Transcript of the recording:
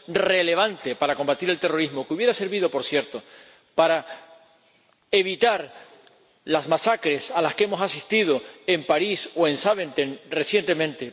relevante para combatir el terrorismo, que hubiera servido, por cierto, para evitar las masacres a las que hemos asistido en París o en Zaventem recientemente.